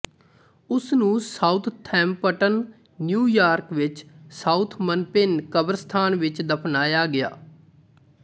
ਉਸ ਨੂੰ Southampton New York ਵਿੱਚ ਸਾਊਥਮਨਪਿਨ ਕਬਰਸਤਾਨ ਵਿੱਚ ਦਫ਼ਨਾਇਆ ਗਿਆ